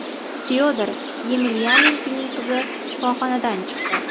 Fyodor Yemelyanenkoning qizi shifoxonadan chiqdi.